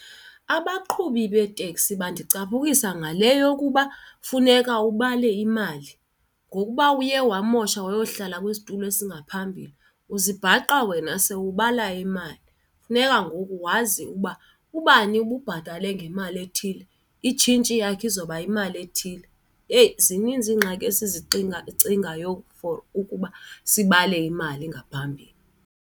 Abaqhubi beetekisi bandicaphukisa ngale yokuba funeka ubale imali. Ngokuba uye wamosha wayohlala kwisitulo ezingaphambili, uzibhaqa wena sewubala imali. Funeka ngoku wazi ukuba ubani ububhatale ngemali ethile, itshintshi yakhe izoba yimali ethile. Eyi, zininzi iingxaki esizixinga cingayo for ukuba sibale imali ngaphambili.